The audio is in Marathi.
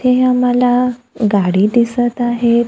हे आम्हाला गाडी दिसत आहेत.